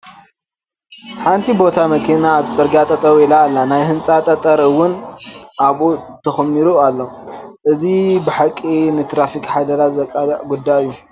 ሓንቲ ቦቲ መኪና ኣብ ፅርጊያ ጠጠው ኢላ ኣላ፡፡ ናይ ህንፃ ጠጠር እውን ኣብኡ ተኾሚሩ ኣሎ፡፡ እዚ ብሓቂ ንትራፊክ ሓደጋ ዘቃልዕ ጉዳይ እዩ፡፡